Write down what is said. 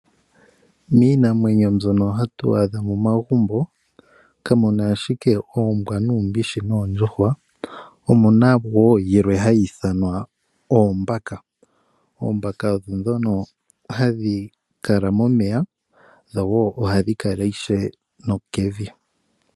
Miinamwenyo mbyono hatu adha momagumbo kamuna ashike Oombwa, nUumbishi nOondjuhwa omuna woo yilwe hayi ithanwa Oombaka. Oombaka ondho ndhono hadhikala momeya ohadhikala ishewe nokevi.